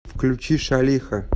включи шалиха